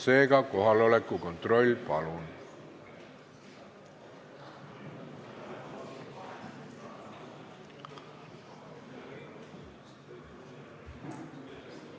Seega kohaloleku kontroll, palun!